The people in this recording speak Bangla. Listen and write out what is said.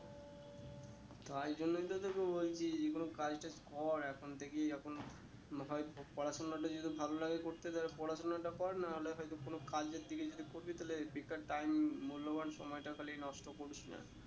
তাই জন্যই তোকে বলছি যে কোনো কাজ টাজ কর এখন থেকেই এখন হয়ে পড়াশোনাটা যদি ভালো লাগে করতে তাহলে পড়াশোনাটা কর না হলে হয়তো কোনো কাজের দিকে যদি করবি তা হলে ঠিক ঠাক time মূল্যবান সময়টা খালি নষ্ট করিস না